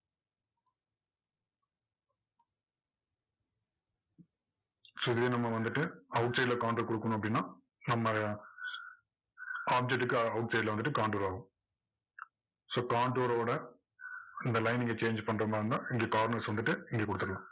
so இது நம்ம வந்துட்டு outside ல counter கொடுக்கணும் அப்படின்னா, நம்ம அஹ் object க்கு outside ல வந்துட்டு counter ஆகும் so counter ஓட இந்த line இங்க change பண்ற மாதிரி இருந்தா corners வந்துட்டு இங்க கொடுத்துடலாம்.